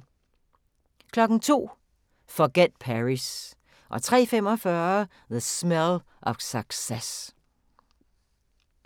02:00: Forget Paris 03:45: The Smell of Success